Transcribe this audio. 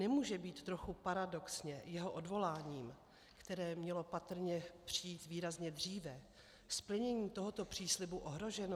Nemůže být trochu paradoxně jeho odvoláním, které mělo patrně přijít výrazně dříve, splnění tohoto příslibu ohroženo?